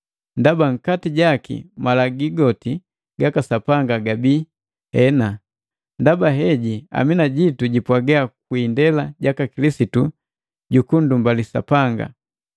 Ndaba nkati jaki malagi goti gaka Sapanga gabii, “Hena.” Ndaba heji “Amina,” jitu jipwaga kwi indela jaka Kilisitu jukundumbali Sapanga.